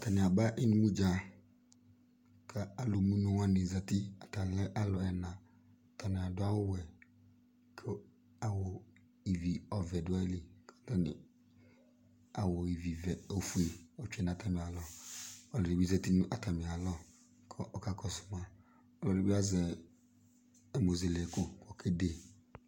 atani aba ɩnʊmʊdza ku alʊmʊnʊwanɩ zɛtɩ atani lɛ alu ɛna , atani aduawuwɛ ku ɩvi ɔvɛ du ayili, awu ɩvivɛ ofuɛ tsue nu atamialɔ alʊni zɛti nu atamialɔ ku ɔkakɔsuma ɛdibi azɛ ɛmuzele ku okede